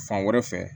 Fan wɛrɛ fɛ